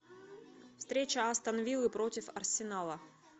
встреча астон виллы против арсенала